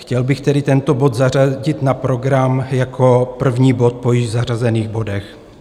Chtěl bych tedy tento bod zařadit na program jako první bod po již zařazených bodech.